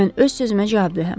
Mən öz sözümə cavabdehəm.